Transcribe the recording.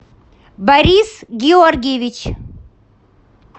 борис георгиевич